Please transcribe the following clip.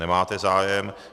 Nemáte zájem.